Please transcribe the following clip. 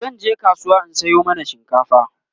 zanje kasuwa in Sayo mana shinkafa